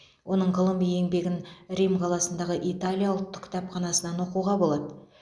оның ғылыми еңбегін рим қаласындағы италия ұлттық кітапханасынан оқуға болады